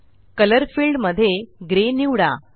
colour field मध्ये grey निवडा